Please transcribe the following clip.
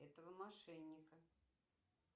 этого мошенника